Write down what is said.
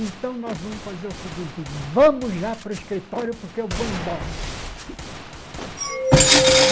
Então nós vamos fazer o seguinte, vamos já para o escritório porque eu vou embora.